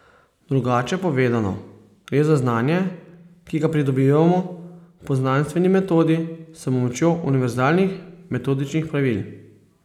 Drugače povedano, gre za znanje, ki ga pridobivamo po znanstveni metodi s pomočjo univerzalnih metodičnih pravil.